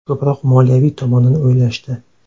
Ko‘proq moliyaviy tomonini o‘ylashdi.